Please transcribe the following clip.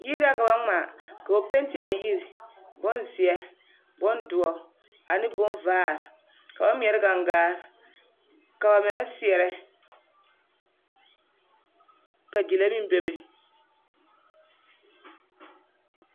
Yiri na ka ba ŋmaa, ka ba penti a yiri bonzeɛ, bondoɔ ane bonvaare ka ba ŋmeɛrɛ gaŋgaa ka bamine seɛrɛ ka gyile meŋ bebe.